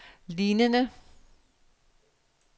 lignende